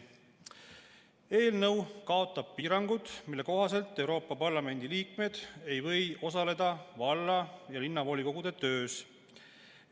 Eelnõu kaotab piirangud, mille kohaselt Euroopa Parlamendi liikmed ei või osaleda valla- ja linnavolikogude töös.